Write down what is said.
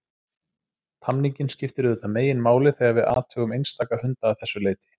Tamningin skiptir auðvitað meginmáli þegar við athugum einstaka hunda að þessu leyti.